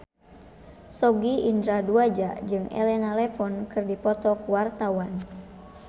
Sogi Indra Duaja jeung Elena Levon keur dipoto ku wartawan